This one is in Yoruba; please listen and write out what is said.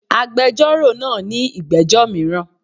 Agbẹjọ́rò náa ní ìgbẹ́jọ́ míràn